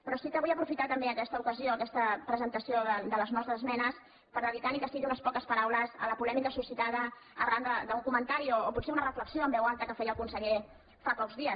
però sí que vull aprofitar també aquesta ocasió aques·ta presentació de les nostres esmenes per dedicar ni que sigui unes poques paraules a la polèmica suscitada arran d’un comentari o potser una reflexió en veu alta que feia el conseller fa pocs dies